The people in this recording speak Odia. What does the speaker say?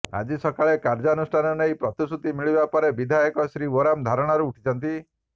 ଆଜି ସକାଳେ କାର୍ଯ୍ୟାନୁଷ୍ଠାନ ନେଇ ପ୍ରତିଶ୍ରୁତି ମିଳିବା ପରେ ବିଧାୟକ ଶ୍ରୀ ଓରାମ ଧାରଣାରୁ ଉଠିଛନ୍ତି